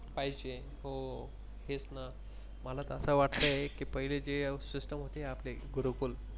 पाहिज हो तेच न मला न अस वाटते की पहिले जे System होती आपली गुरुकुल